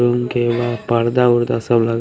पर्दा वर्दा सब लगा---